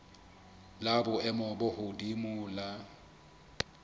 la boemo bo hodimo la